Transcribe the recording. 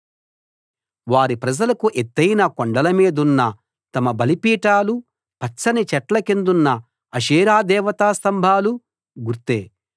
వారి ప్రజలకు ఎత్తయిన కొండల మీదున్న తమ బలిపీఠాలూ పచ్చని చెట్ల కిందున్న అషేరా దేవతా స్థంభాలూ గుర్తే